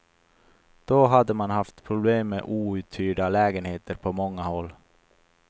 Då hade man haft problem med outhyrda lägenheter på många håll.